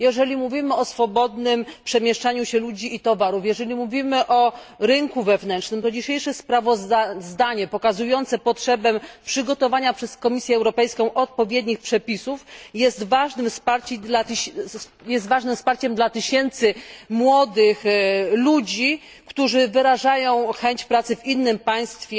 Jeżeli mówimy o swobodnym przemieszczaniu się ludzi i towarów, jeżeli mówimy o rynku wewnętrznym, to dzisiejsze sprawozdanie pokazujące potrzebę przygotowania przez Komisję Europejską odpowiednich przepisów jest ważnym wsparciem dla tysięcy młodych ludzi, którzy wyrażają chęć pracy w innym państwie